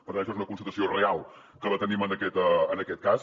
per tant això és una constatació real que la tenim en aquest cas